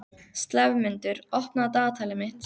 slefmundur, opnaðu dagatalið mitt.